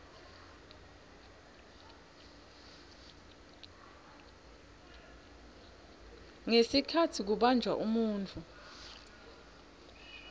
ngesikhatsi kubanjwa umuntfu